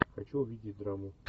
хочу увидеть драму